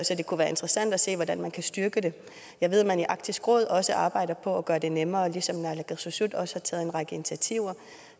så det kunne være interessant at se hvordan man kan styrke det jeg ved at man i arktisk råd også arbejder på at gøre det nemmere ligesom naalakkersuisut også har taget en række initiativer